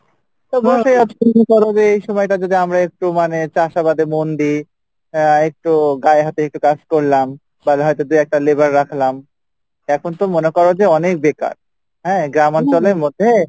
অবশ্যই আজকে যে এই সময়টা যদি আমরা একটু মানে চাষাবাদে মন দেই আহ একটু গায়ে হাতে একটু কাজ করলাম তাহলে হয়তো দু একটা labor রাখলাম এখন তো মনে করো যে অনেক বেকার হ্যাঁ গ্রামঞ্চলের মধ্যে,